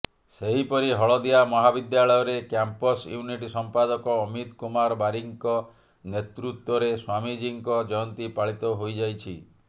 ସେହିପରି ହଳଦିଆ ମହାବିଦ୍ୟାଳୟରେ କ୍ୟାମ୍ପସ୍ ୟୁନିଟ୍ ସଂପାଦକ ଅମିତ୍ କୁମାର ବାରିକଙ୍କ ନେତୃତ୍ୱରେ ସ୍ୱାମୀଜିଙ୍କ ଜୟନ୍ତୀ ପାଳିତ ହୋଇଯାଇଛି